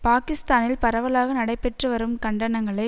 பாக்கிஸ்தானில் பரவலாக நடைபெற்று வரும் கண்டனங்களை